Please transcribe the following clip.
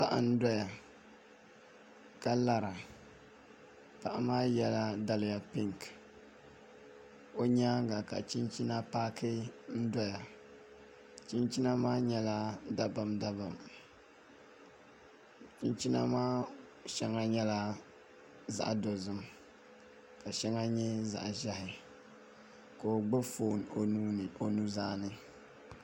Paɣa n doya ka lara paɣa maa yɛla daliya pink o nyaanga ka chinchina paaki n doya chinchina maa nyɛla dabam dabam chinchina maa shɛŋa nyɛla zaɣ dozim ka shɛŋa nyɛ zaɣ ʒiɛhi ka o gbubi foon o nuzaa ni